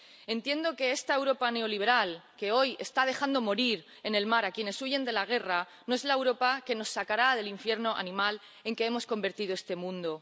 Entiendo que esta Europa neoliberal, que hoy está dejando morir en el mar a quienes huyen de la guerra, no es la Europa que nos sacará del infierno animal en que hemos convertido este mundo.